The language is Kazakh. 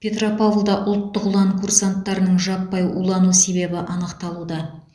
петропавлда ұлттық ұлан курсанттарының жаппай улану себебі анықталуда